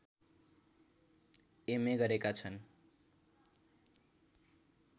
MA गरेका छन्